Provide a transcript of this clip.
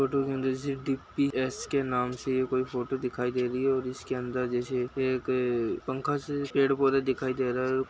Photo के अंदर से डी_पी_एस के नाम से कोई फोटो दिखाई दे रही है और इसके अंदर जैसे एक पंखा से पेड़-पौधे दिखाई दे रहे है।